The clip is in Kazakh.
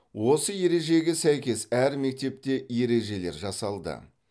осы ережеге сәйкес әр мектепте ережелер жасалды